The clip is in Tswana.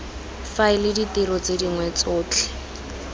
faela ditiro tse dingwe tsotlhe